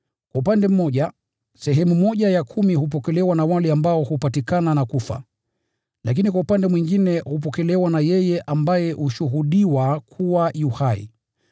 Kwa upande mmoja, sehemu ya kumi hupokelewa na wale ambao hupatikana na kufa; lakini kwa upande mwingine hupokelewa na yeye ambaye hushuhudiwa kuwa yu hai.